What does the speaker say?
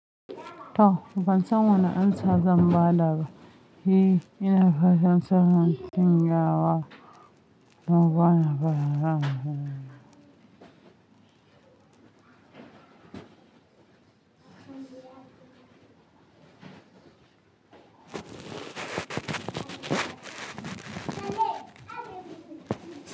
To, ban san wannan amsa zan ba da ba. E, ina fashin sahan shanyawa. Na gane fa.